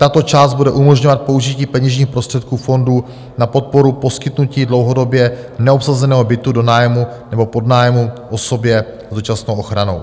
Tato část bude umožňovat použití peněžních prostředků fondu na podporu poskytnutí dlouhodobě neobsazeného bytu do nájmu nebo podnájmu osobě s dočasnou ochranou.